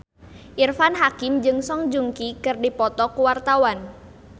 Irfan Hakim jeung Song Joong Ki keur dipoto ku wartawan